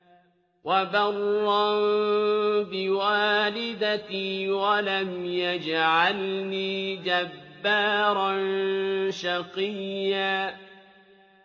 وَبَرًّا بِوَالِدَتِي وَلَمْ يَجْعَلْنِي جَبَّارًا شَقِيًّا